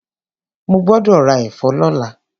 Mo gbọ́dọ̀ ra ẹ̀fọ́ lọ́la.